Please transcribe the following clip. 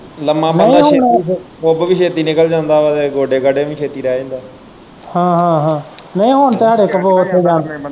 ਲੰਮਾ ਨਹੀਂ ਹੁਣ ਕੁੱਬ ਵੀ ਛੇਤੀ ਨਿਕਲ ਜਾਂਦਾ ਆ ਤੇ ਗੋਡੇ ਗਾਢੇ ਵੀ ਛੇਤੀ ਰਹਿ ਜਾਂਦਾ ਹਾਂ ਹਾਂ ਹਾਂ ਨਹੀਂ ਹੁਣ ਤੇ